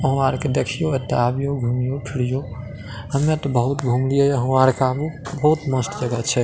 हमार के देखीयो अते आवियो घूमियो फिरियो हमनी तो बहुत घुमलियै हमारका में बहुत मस्त जगह छे।